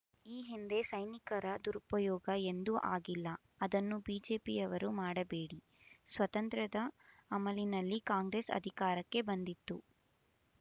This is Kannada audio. ಈ ಹಿಂದೆ ಸೈನಿಕರ ದುರುಪಯೋಗ ಎಂದೂ ಆಗಿಲ್ಲ ಅದನ್ನು ಬಿಜೆಪಿಯವರು ಮಾಡಬೇಡಿ ಸ್ವಾತಂತ್ರ್ಯದ ಅಮಲಿನಲ್ಲಿ ಕಾಂಗ್ರೆಸ್ ಅಧಿಕಾರಕ್ಕೆ ಬಂದಿತ್ತು